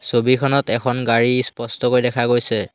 ছবিখনত এখন গাড়ী ইস্পষ্টকৈ দেখা গৈছে।